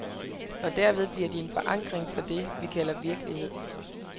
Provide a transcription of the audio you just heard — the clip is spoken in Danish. Og derved bliver de en forankring for det, vi kalder virkelighed.